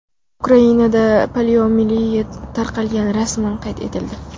Ukrainada poliomiyelit tarqalgani rasman qayd etildi.